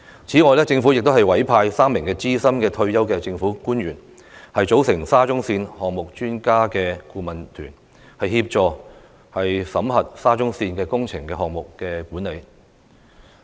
此外，政府亦委派3名資深退休政府官員，組成"沙中線項目專家顧問團"，協助檢討沙中線的工程項目管理。